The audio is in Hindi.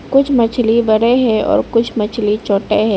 कुछ मछली बड़े हैं और कुछ मछली छोटे हैं।